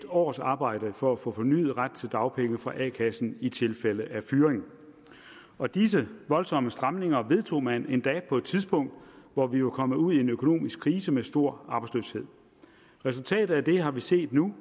års arbejde for at få fornyet ret til dagpenge fra a kassen i tilfælde af fyring og disse voldsomme stramninger vedtog man endda på et tidspunkt hvor vi var kommet ud i en økonomisk krise med stor arbejdsløshed resultatet af det har vi set nu